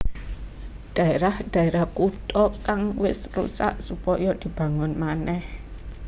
Dhaerah dhaerah kutha kang wis rusak supaya dibangun manèh